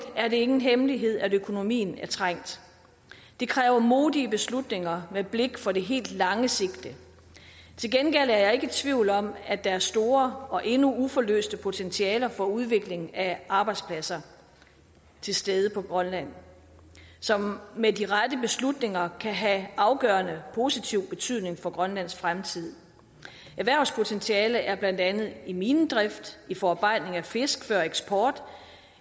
er det ingen hemmelighed at økonomien er trængt det kræver modige beslutninger med blik for det helt lange sigte til gengæld er jeg ikke i tvivl om at der er store og endnu uforløste potentialer for udvikling af arbejdspladser til stede på grønland som med de rette beslutninger kan have afgørende positiv betydning for grønlands fremtid erhvervspotentialet er blandt andet i minedrift i forarbejdning af fisk før eksport